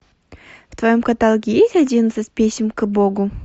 в твоем каталоге есть одиннадцать писем к богу